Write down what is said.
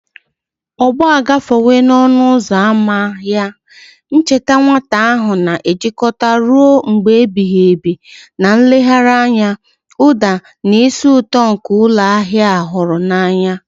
Ọgbọ agafewo n'ọnụ ụzọ ámá ya, ncheta nwata ha na-ejikọta ruo mgbe ebighị ebi na nlegharị anya, ụda, na ísì ụtọ nke ụlọ ahịa a hụrụ n'anya.